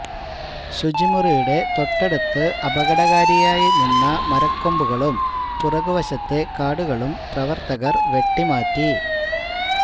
ശുചിമുറിയുടെ തൊട്ടടുത്ത് അപകടകാരിയായ നിന്ന മരക്കൊമ്പുകളും പിറകുവശത്തെ കാടുകളും പ്രവര്ത്തകര് വെട്ടിമാറ്റി